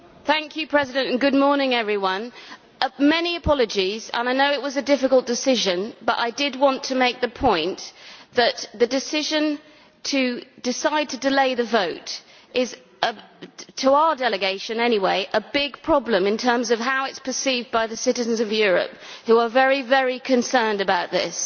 Mr President, many apologies, and I know it was a difficult decision, but I did want to make the point that the decision to decide to delay the vote is, to our delegation anyway, a big problem in terms of how it is perceived by the citizens of Europe, who are very concerned about this.